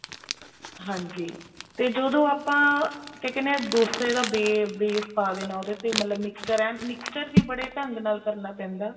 ਹਾਂਜੀ ਤੇ ਜਦੋਂ ਆਪਾਂ ਤੇ ਕਹਿਨੇ ਹਾਂ ਡੋਸੇ ਦਾ base ਪਾ ਦੇਣਾ ਉਹਦੇ ਮਤਲਬ mixture ਏਨ mixture ਵੀ ਬੜੇ ਢੰਗ ਨਲ ਕਰਨਾ ਪੈਂਦਾ